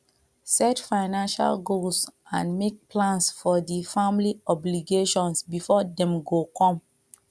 set financial goals and make plans for di family obligations before dem go come